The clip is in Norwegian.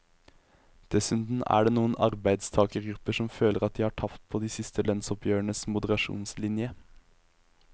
Dessuten er det noen arbeidstagergrupper som føler at de har tapt på de siste lønnsoppgjørenes moderasjonslinje.